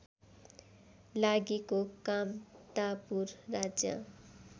लागिको कामतापुर राज्य